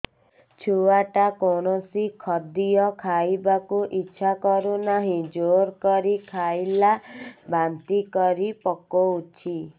ଛୁଆ ଟା କୌଣସି ଖଦୀୟ ଖାଇବାକୁ ଈଛା କରୁନାହିଁ ଜୋର କରି ଖାଇଲା ବାନ୍ତି କରି ପକଉଛି